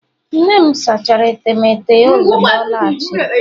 nne m sachara etemeete ya ozugbo ọ lọghachiri